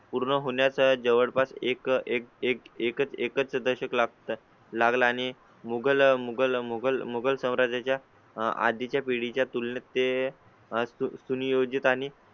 पूर्ण होण्या चा जवळपास एक एक एक एक एकच दशक लागतात लागला आणि मुघल मुघल मुगल मुगल साम्राज्या च्या आधी च्या पिढी च्या तुलनेत ते सुनियोजित आणि